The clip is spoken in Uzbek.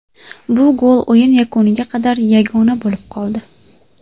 Bu gol o‘yin yakuniga qadar yagona bo‘lib qoldi.